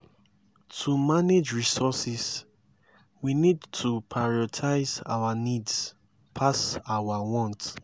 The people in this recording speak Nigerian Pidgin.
to manage resources we need to prioritize our needs pass our want